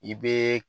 I bɛ